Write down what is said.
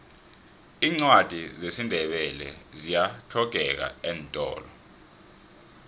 iincwadi zesindebele ziyahlogeka eentolo